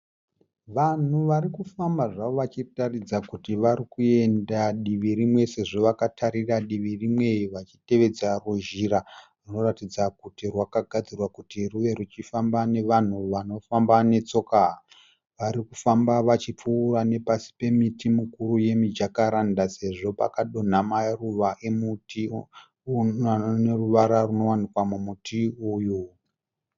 Vanhu vari kufamba zvavo vachitaridza kuti vari kuenda divi rimwe sezvo vakatarira divi rimwe vachitevedza ruzhira runoratidza kuti rwakagadzirwa kuti rwuve ruchifamba nevanhu vanofamba netsoka. Vari kufamba vachipfuura nepasi pemiti mikuru yemijakaranda sezvo pakadonha maruva emuti anoruvara runowanikwa mumuti uyu.